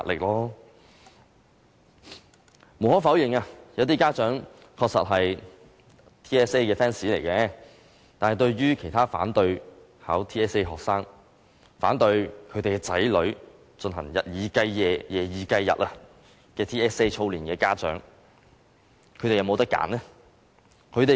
無可否認，有些家長確實是 TSA 的 fans， 但其他反對考 TSA 的學生、反對其子女日以繼夜、夜以繼日進行 TSA 操練的家長，他們是否可以選擇呢？